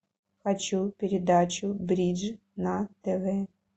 хочу передачу бридж на тв